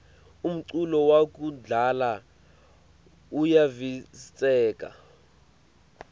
umculo wakudzala uyavistseka